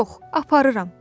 "Yox, aparıram!"